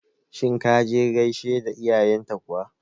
Shin ka je ka gaishe da iyayen ta kuwa?